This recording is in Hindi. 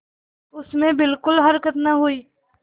उसमें बिलकुल हरकत न हुई